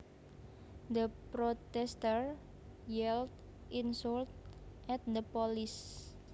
The protesters yelled insults at the police